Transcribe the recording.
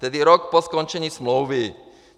Tedy rok po skončení smlouvy.